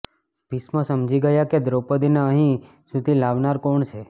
ભીષ્મ સમજી ગયા કે દ્રૌપદીને અહીં સુધી લાવનાર કોણ છે